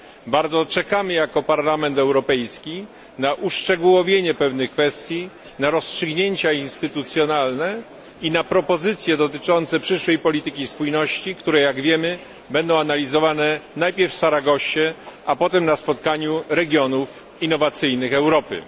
Bardzo czekamy jako Parlament Europejski na uszczegółowienie pewnych kwestii, na rozstrzygnięcia instytucjonalne i na propozycje dotyczące przyszłej polityki spójności, które jak wiemy, będą realizowane najpierw w Saragossie, a potem na spotkaniu regionów innowacyjnych Europy.